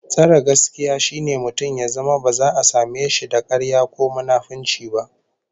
Tsare gaskiya shine mutum ya zama ba za a same da karya ko munafunci ba